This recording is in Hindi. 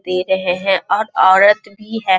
पी रहें हैं और औरत भी है --